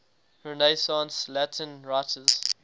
renaissance latin writers